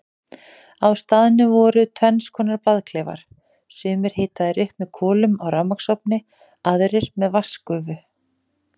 Á staðnum voru tvennskonar baðklefar, sumir hitaðir upp með kolum á rafmagnsofni, aðrir með vatnsgufu.